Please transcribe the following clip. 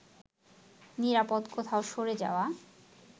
নিরাপদ কোথাও সরে যাওয়া